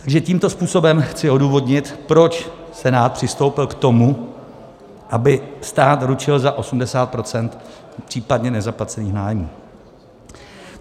Takže tímto způsobem chci odůvodnit, proč Senát přistoupil k tomu, aby stát ručil za 80 % případně nezaplacených nájmů.